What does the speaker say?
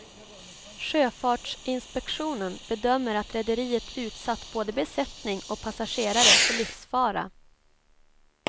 Sjöfartsinspektionen bedömer att rederiet utsatt både besättning och passagerare för livsfara.